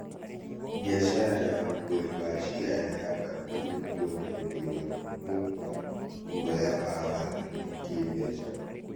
Biacara ya ũgũri wa cĩaya yambatĩire gwothe thĩ yothe nĩũndũ wa guoya wa waagi wa kĩĩmbeca